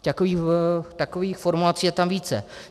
Takových formulací je tam více.